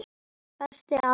Besti afi í heimi.